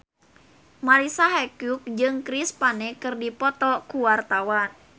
Marisa Haque jeung Chris Pane keur dipoto ku wartawan